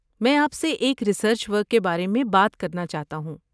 میں آپ سے ایک ریسرچ ورک کے بارے میں بات کرنا چاہتا ہوں۔